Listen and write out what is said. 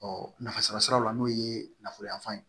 nafa sɔrɔ siraw la n'o ye nafolo yanfan ye